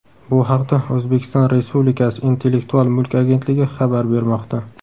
Bu haqda O‘zbekiston Respublikasi Intellektual mulk agentligi xabar bermoqda .